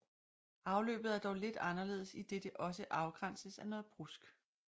Afløbet er dog lidt anderledes idet det også afgrænses af noget brusk